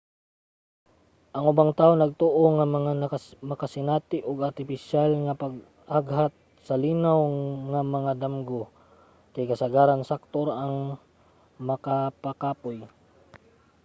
ang ubang tawo nagtoo nga ang makasinati ug artipisyal nga pag-aghat sa linaw nga mga damgo kay kasagaran sakto ra nga makapakapoy